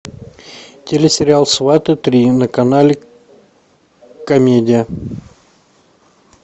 телесериал сваты три на канале комедия